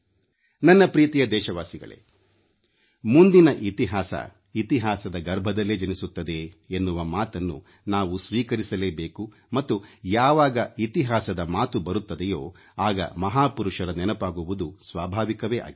ನನ್ನ ಪ್ರೀತಿಯ ದೇಶವಾಸಿಗಳೇ ಮುಂದಿನ ಇತಿಹಾಸ ಇತಿಹಾಸದ ಗರ್ಭದಲ್ಲೇ ಜನಿಸುತ್ತದೆ ಎನ್ನುವ ಮಾತನ್ನು ನಾವು ಸ್ವೀಕರಿಸಲೇಬೇಕು ಮತ್ತು ಯಾವಾಗ ಇತಿಹಾಸದ ಮಾತು ಬರುತ್ತದೆಯೋ ಆಗ ಮಹಾಪುರುಷರ ನೆನಪಾಗುವುದು ಸ್ವಾಭಾವಿಕವೇ ಆಗಿದೆ